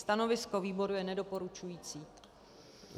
Stanovisko výboru je nedoporučující.